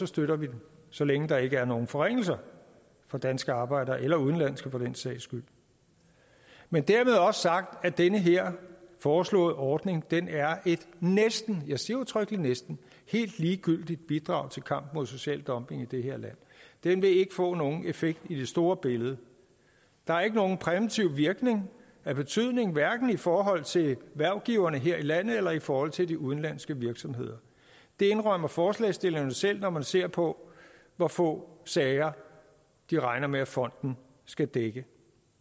støtter vi den så længe der ikke er nogen forringelser for danske arbejdere eller udenlandske for den sags skyld men dermed også sagt at den her foreslåede ordning er et næsten jeg siger udtrykkeligt næsten helt ligegyldigt bidrag til kampen mod social dumping i det her land den vil ikke få nogen effekt i det store billede der er ikke nogen præventiv virkning af betydning hverken i forhold til hvervgiverne her i landet eller i forhold til de udenlandske virksomheder det indrømmer forslagsstillerne selv når man ser på hvor få sager de regner med fonden skal dække